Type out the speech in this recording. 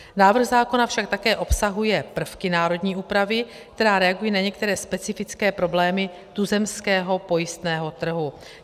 Návrh zákona však také obsahuje prvky národní úpravy, která reaguje na některé specifické problémy tuzemského pojistného trhu.